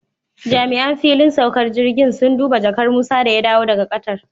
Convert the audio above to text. Jami'an fillin saukar jirgin sun duba jakar Musa da ya dawo daga Qatar